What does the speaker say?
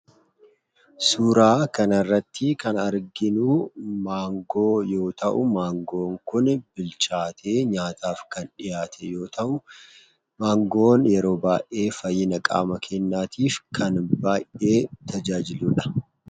Suuraa kanaa irratti kan arginu Maangoo yoo ta'u, maangoon kun bilchaatee nyaataaf kan dhiyatedha. Maangoon yeroo baay'ee fayyina qaama keenyaatiif kan baay'ee tajaajiludha.